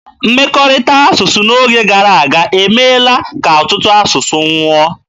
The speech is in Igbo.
Mmekọrịta asụsụ n'oge gara aga emeela ka ọtụtụ asụsụ nwụọ.